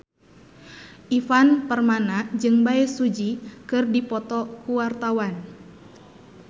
Ivan Permana jeung Bae Su Ji keur dipoto ku wartawan